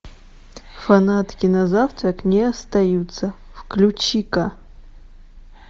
фанатки на завтрак не остаются включи ка